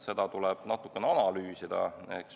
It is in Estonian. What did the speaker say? Seda tuleb natukene analüüsida.